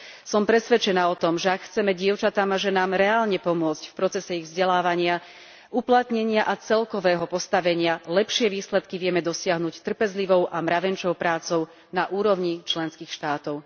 Som presvedčená o tom, že ak chceme dievčatám a ženám reálne pomôcť v procese ich vzdelávania, uplatnenia a celkového postavenia, lepšie výsledky vieme dosiahnuť trpezlivou a mravenčou prácou na úrovni členských štátov.